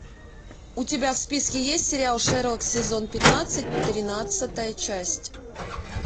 у тебя в списке есть сериал шерлок сезон пятнадцать тринадцатая часть